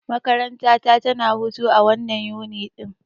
Makaranta ta tana hutu a wannan Yuni ɗin.